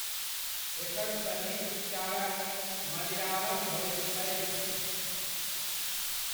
एकर सही उच्चारण मलयालम् होइत अछि।